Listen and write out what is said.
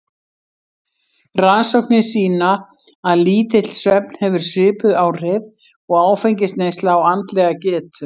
Rannsóknir sýna að lítill svefn hefur svipuð áhrif og áfengisneysla á andlega getu.